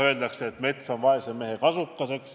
Öeldakse, et mets on vaese mehe kasukas.